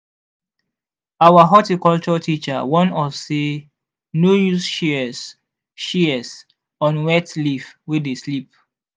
our horticulture teacher warn us say no use shears shears on wet leaf wey dey slip.